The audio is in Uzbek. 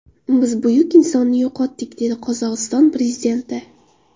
Biz buyuk insonni yo‘qotdik”, dedi Qozog‘iston prezidenti.